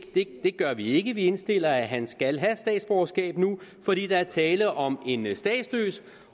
det gør vi ikke vi indstiller at han skal have statsborgerskab nu fordi der er tale om en statsløs